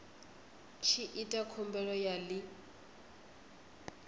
tshi ita khumbelo ya ḽi